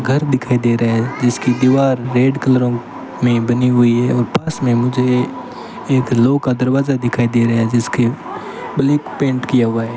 घर दिखाई दे रहा है जिसकी दीवार रेड क्लरों में बनी हुई है और पास में मुझे एक लोह का दरवाजा दिखाई दे रहा है जिसके ब्लैक पेंट किया हुआ है।